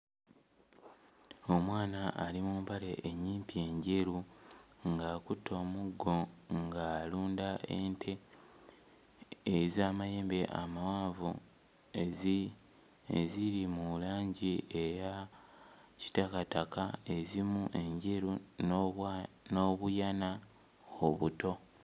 Omwana ali mu mpale ennyimpi enjeru ng'akutte omuggo ng'alunda ente ez'amayembe amawanvu ezi... eziri mu langi eya kitakataka ezimu enjeru n'obwa n'obuyana obuto.